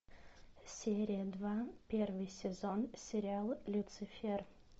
серия два первый сезон сериал люцифер